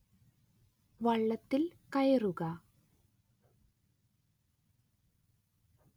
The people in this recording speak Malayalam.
വള്ളത്തിൽ കയറുക